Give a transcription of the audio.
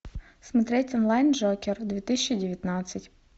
смотреть онлайн джокер две тысячи девятнадцать